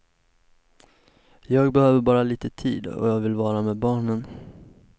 Jag behöver bara lite tid, och jag vill vara med barnen.